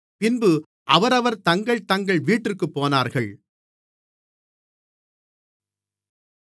பின்பு அவரவர் தங்கள் தங்கள் வீட்டிற்குப் போனார்கள்